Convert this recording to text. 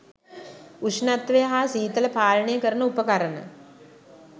උෂ්ණත්වය හා සීතල පාලනය කරන උපකරණ